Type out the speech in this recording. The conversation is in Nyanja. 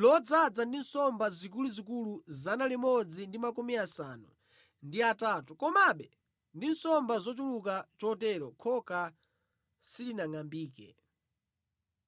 lodzaza ndi nsomba zikuluzikulu 153, komabe ndi nsomba zochuluka chotero khoka silinangʼambike.